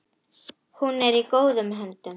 Hún er í góðum höndum.